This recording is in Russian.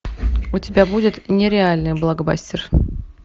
у тебя будет нереальный блокбастер